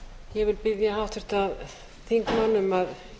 ég vil biðja háttvirta þingmenn um að